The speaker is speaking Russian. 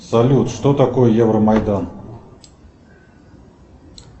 салют что такое евромайдан